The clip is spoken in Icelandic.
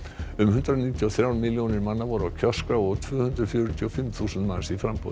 um hundrað níutíu og þrjár milljónir voru á kjörskrá og tvö hundruð fjörutíu og fimm þúsund manns í framboði